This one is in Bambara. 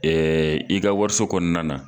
i ka wariso kɔnɔna na.